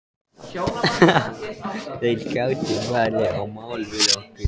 Þeir gætu farið í mál við okkur.